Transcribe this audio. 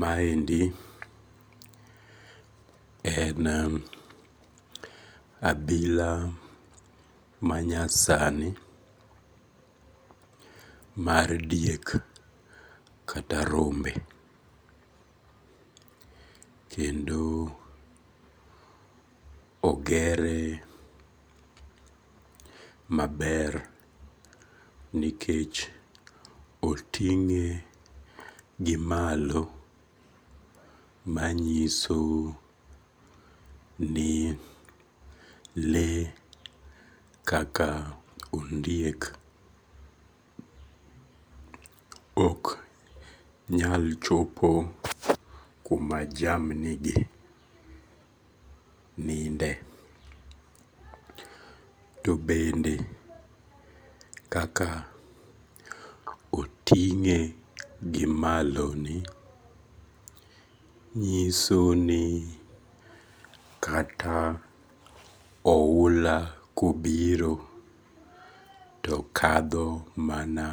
Maendi en abila manyasani mar diek kata rombe, kendo ogere maber nikech otinge gimalo manyiso ni le kaka ondiek ok nyal chopo kuma jamnigi ninde, to bende kaka oting'e gi maloni, nyisoni kata oula kobiro to kadho mana